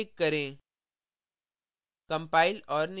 save पर click करें